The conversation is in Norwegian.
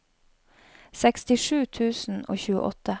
sekstisju tusen og tjueåtte